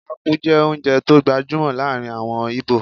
Ápú jẹ́ oúnjẹ tó gbajúmọ̀ láàrin àwọn íbò